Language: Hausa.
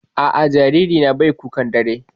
A'a, jaririna bai kukan dare.